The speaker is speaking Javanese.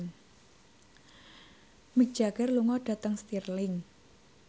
Mick Jagger lunga dhateng Stirling